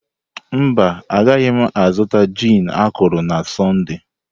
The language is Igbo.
Mba, agaghị m azụta gin akọrọ na Sọnde.